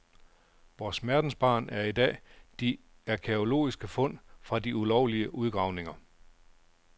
Vor smertensbarn er i dag de arkæologiske fund fra de ulovlige udgravninger.